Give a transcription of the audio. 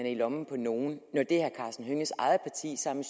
i lommen på nogen når det herre karsten hønges eget parti sammen